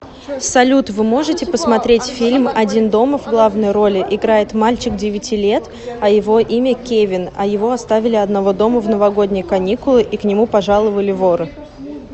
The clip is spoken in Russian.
салют вы можете посмотреть фильм один дома в главной роли играет мальчик девяти лет а его имя кевин а его оставили одного дома в новогодние каникулы и к нему пожаловали воры